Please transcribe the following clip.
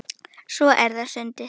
Svo er það sundið.